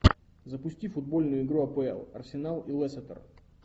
запусти футбольную игру апл арсенал и лестер